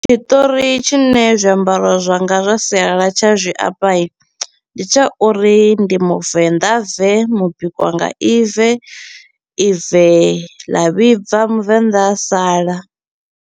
Tshiṱori tshine zwiambaro zwanga zwa sialala tsha zwi amba i, ndi tsha uri ndi muvenḓa bve mubikwa na ibve, ibve ḽa vhibva muvenḓa a sala.